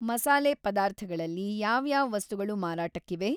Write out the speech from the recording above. ಮಸಾಲೆ ಪದಾರ್ಥಗಳಲ್ಲಿ ಯಾವ್ಯಾವ್‌ ವಸ್ತುಗಳು ಮಾರಾಟಕ್ಕಿವೆ?